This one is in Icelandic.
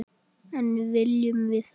En viljum við það?